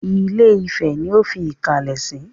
Ilé-ifẹ̀ ni ó fi ìkàlẹ̀ sí.